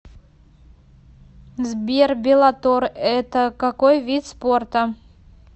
сбер беллатор это какой вид спорта